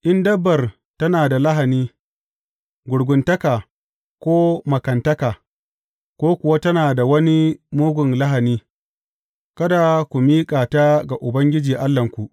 In dabbar tana da lahani, gurguntaka ko makantaka, ko kuwa tana da wani mugun lahani, kada ku miƙa ta ga Ubangiji Allahnku.